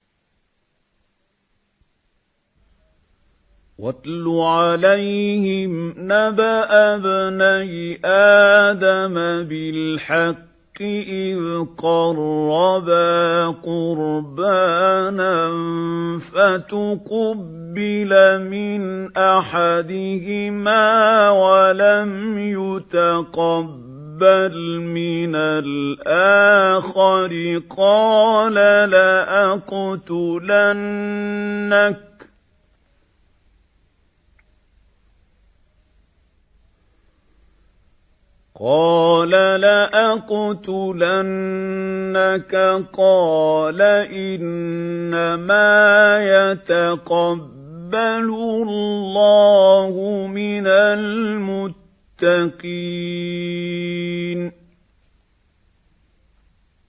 ۞ وَاتْلُ عَلَيْهِمْ نَبَأَ ابْنَيْ آدَمَ بِالْحَقِّ إِذْ قَرَّبَا قُرْبَانًا فَتُقُبِّلَ مِنْ أَحَدِهِمَا وَلَمْ يُتَقَبَّلْ مِنَ الْآخَرِ قَالَ لَأَقْتُلَنَّكَ ۖ قَالَ إِنَّمَا يَتَقَبَّلُ اللَّهُ مِنَ الْمُتَّقِينَ